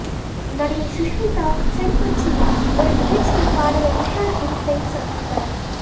நடிகை சுஷ்மிதா சென் கொச்சியில் ஒரு நிகழ்ச்சியில் பாடகர் உஷா உதுப்பை சந்தித்தார்